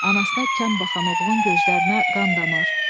Anasına kəm baxan oğlun gözlərinə qan damır.